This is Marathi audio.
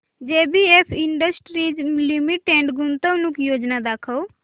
जेबीएफ इंडस्ट्रीज लिमिटेड गुंतवणूक योजना दाखव